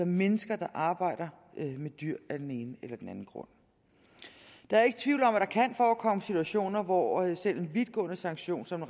mennesker der arbejder med dyr af den ene eller den anden grund der er ikke tvivl om at der kan forekomme situationer hvor selv en vidtgående sanktion som